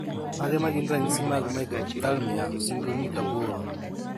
Mage magin ranyisi mag Microphthalmia syndromic aboro